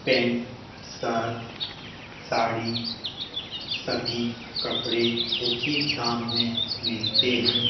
Pant shirt sari सभी कपड़े उचित दाम में मिलते हैं।